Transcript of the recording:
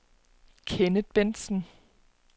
Kenneth Bentsen